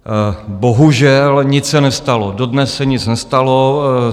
Bohužel, nic se nestalo, dodnes se nic nestalo.